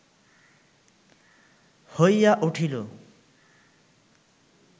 হইয়া উঠিল